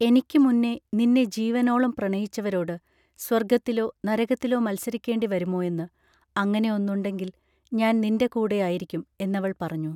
എനിക്ക് മുന്നേ നിന്നെ ജീവനോളം പ്രണയിച്ചവരോട് സ്വർഗ്ഗത്തിലോ നരകത്തിലോ മത്സരിക്കേണ്ടി വരുമോയെന്ന് അങ്ങനെ ഒന്നുണ്ടെങ്കിൽ ഞാൻ നിന്റെ കൂടെയായിരിക്കും എന്നവൾ പറഞ്ഞു